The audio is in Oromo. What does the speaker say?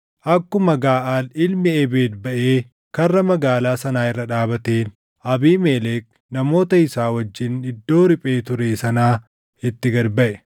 Akkuma Gaʼaal ilmi Ebeed baʼee karra magaalaa sanaa irra dhaabateen, Abiimelek namoota isaa wajjin iddoo riphee ture sanaa itti gad baʼe.